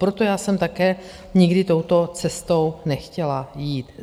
Proto já jsem také nikdy touto cestou nechtěla jít.